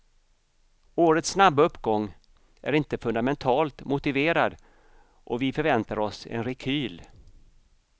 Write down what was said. Årets snabba uppgång är inte fundamentalt motiverad och vi förväntar oss en rekyl.